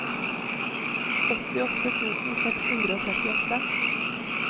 åttiåtte tusen seks hundre og trettiåtte